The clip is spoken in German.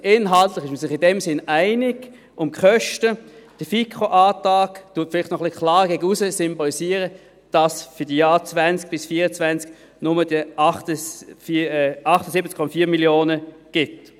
Man ist sich inhaltlich also in dem Sinn einig, und bei den Kosten symbolisiert der FiKoAntrag vielleicht noch klarer nach aussen, dass es für die Jahre 2020–2024 nur 78,4 Mio. Franken gibt.